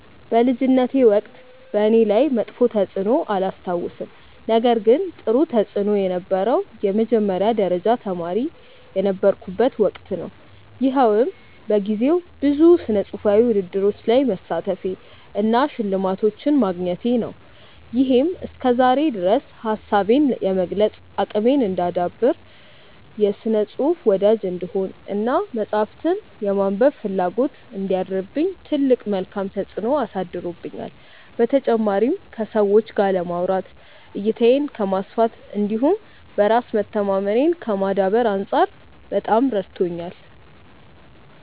በልጅነቴ ወቅት በእኔ ላይ መጥፎ ተፅዕኖ አላስታውስም ነገር ግን ጥሩ ተፅእኖ የነበረው የመጀመሪያ ደረጃ ተማሪ የነበርኩበት ወቅት ነው። ይኸውም በጊዜው ብዙ ስነፅሁፋዊ ውድድሮች ላይ መሳተፌ እና ሽልማቶችን ማግኘቴ ነው። ይሄም እስከዛሬ ድረስ ሀሳቤን የመግለፅ አቅሜን እንዳዳብር፣ የስነ ፅሁፍ ወዳጅ እንድሆን እና መፅሀፍትን የማንበብ ፍላጎት እንዲያድርብኝ ትልቅ መልካም ተፅዕኖ አሳድሮብኛል። በተጨማሪም ከሰዎች ጋር ለማውራት፣ እይታዬን ከማስፋት እንዲሁም በራስ መተማመኔን ከማዳበር አንፃር በጣም ረድቶኛል።